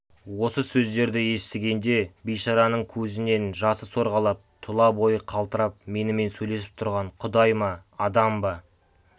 осы сөздерді естігенде бейшараның көзінен жасы сорғалап тұла бойы қалтырап менімен сөйлесіп тұрған құдай ма адам ба